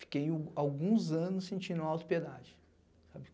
Fiquei alguns anos sentindo autopiedade, sabe?